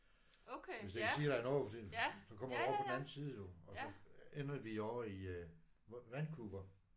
Hvis det siger dig noget fordi så kommer du over på den anden side du og så ender vi ovre i Vancouver